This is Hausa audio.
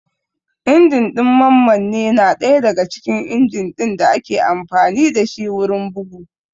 Injin ɗin mammanne na ɗaya daga cikin injin ɗin da ake amfani dashi wurin bugu